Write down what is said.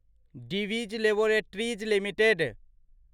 Divi's laboratories limited